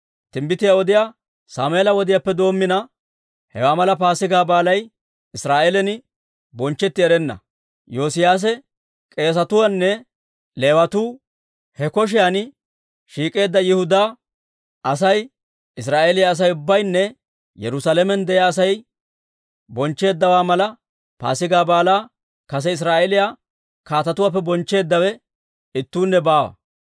Timbbitiyaa odiyaa Sammeela wodiyaappe doommina, hewaa mala Paasigaa Baalay Israa'eelan bonchchetti erenna. Yoosiyaase, k'eesatuu nne Leewatuu, he koshiyan shiik'eedda Yihudaa asay, Israa'eeliyaa Asay ubbaynne Yerusaalamen de'iyaa Asay bonchcheeddawaa mala Paasigaa Baalaa kase Israa'eeliyaa kaatetuwaappe bonchcheeddawe ittuunne baawa.